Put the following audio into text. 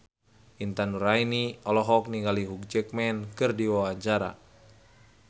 Intan Nuraini olohok ningali Hugh Jackman keur diwawancara